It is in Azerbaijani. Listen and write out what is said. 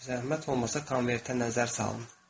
Zəhmət olmasa konvertə nəzər salın.